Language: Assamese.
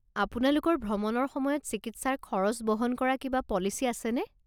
আপোনালোকৰ ভ্ৰমণৰ সময়ত চিকিৎসাৰ খৰচ বহন কৰা কিবা পলিচি আছেনে?